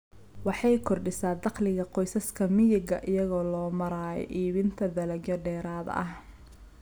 Waxay kordhisaa dakhliga qoysaska miyiga iyada oo loo marayo iibinta dalagyo dheeraad ah.